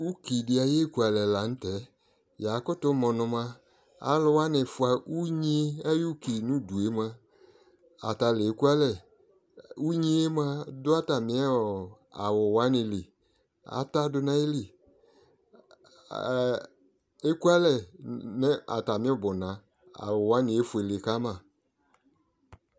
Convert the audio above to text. Ʋkidi ayʋ ekʋalɛ lanʋtɛ yakʋtʋ mʋ nʋ mʋa alʋ wani fʋa ʋnyi ayʋ ʋki nʋ ʋdʋ mʋa atale kʋalɛ ʋnyi yɛ mʋa dʋ atami awʋ wanili atadʋ nʋ ayili ekʋalɛ nʋ atami ʋbʋna awʋ wani efuele kama